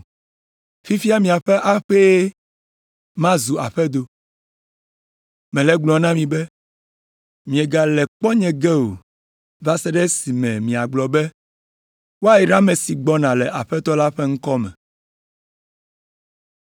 Fifia miaƒe aƒee ma zu aƒedo. Mele egblɔm na mi be, miegale kpɔ nye ge o, va se ɖe esime miagblɔ be, ‘Woayra ame si gbɔna le Aƒetɔ la ƒe ŋkɔ me.’ ”